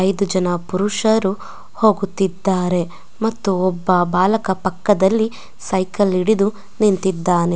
ಐದು ಜನ ಪುರುಷರು ಹೋಗುತಿದ್ದಾ ಮತ್ತು ಒಬ್ಬ ಬಾಲಕ ಪಕ್ಕದಲಿ ಸೈಕಲ್ ಹಿಡಿದು ನಿಂತಿದಾನೆ.